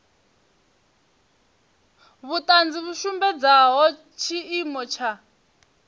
vhuṱanzi vhu sumbedzaho tshiimo tsha